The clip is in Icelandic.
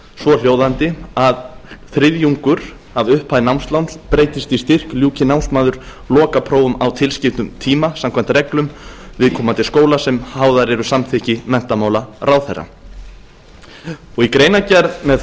svohljóðandi að þriðjungur af upphæð námsláns breytist í styrk ljúki námsmaður lokaprófum á tilskildum tíma samkvæmt reglum viðkomandi skóla sem háðar eru samþykki menntamálaráðherra í greinargerð með